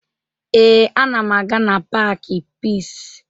Ee, ana m aga na paakị Piisi